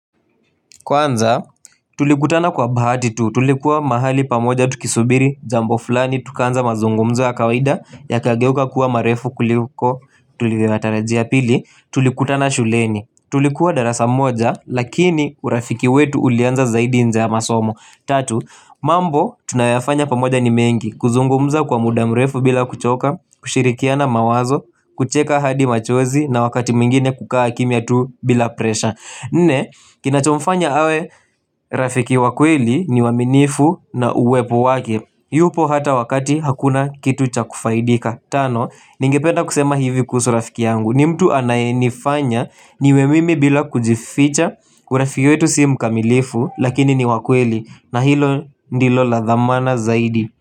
Kwanza, tulikutana kwa bahati tu, tulikuwa mahali pamoja tukisubiri, jambo fulani, tukaanza mazungumzo ya kawaida, yakageuka kuwa marefu kuliko, tulikutana shuleni, tulikuwa darasa moja, lakini urafiki wetu ulianza zaidi nje ya masomo. Tatu, mambo tunayafanya pamoja ni mengi, kuzungumza kwa muda mrefu bila kuchoka, kushirikiana mawazo, kucheka hadi machozi na wakati mwingine kukaa kimya tu bila presha Nne, kinachomfanya awe rafiki wa kweli ni uwaminifu na uwepo wake, yupo hata wakati hakuna kitu cha kufaidika Tano, ningependa kusema hivi kuhusu rafiki yangu ni mtu anayenifanya niwe mimi bila kujificha Kuna urafiki wetu si mkamilifu Lakini ni wa kweli na hilo ndilo la dhamana zaidi.